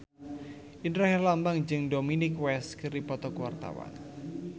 Indra Herlambang jeung Dominic West keur dipoto ku wartawan